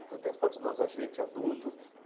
Então tem as fotos de nós, a gente, adulto.